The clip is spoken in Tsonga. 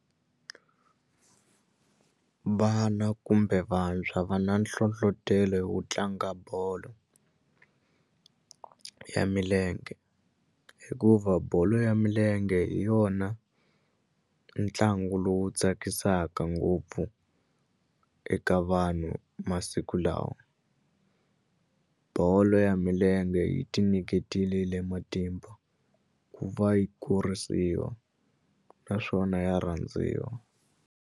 Vana kumbe vantshwa va na nhlohlotelo wo tlanga bolo ya milenge hikuva bolo ya milenge hi yona ntlangu lowu tsakisaka ngopfu eka vanhu masiku lawa bolo ya milenge yi ti nyiketelile matimba ku va yi kurisiwa naswona ya rhandziwa.